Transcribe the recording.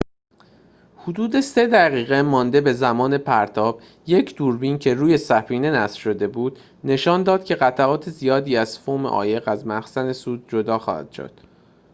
حدود ۳ دقیقه مانده به زمان پرتاب یک دوربین که روی سفینه نصب شده بود نشان داد که قطعات زیادی از فوم عایق از مخزن سوخت جدا می‌شوند